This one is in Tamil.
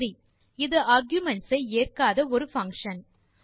சரி இது ஆர்குமென்ட்ஸ் ஐ ஏற்காத ஒரு பங்ஷன்